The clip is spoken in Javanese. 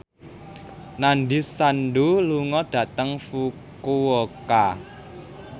Nandish Sandhu lunga dhateng Fukuoka